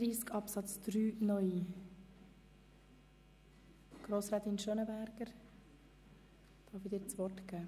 Grossrätin Gabi, ich darf Ihnen zuerst das Wort erteilen.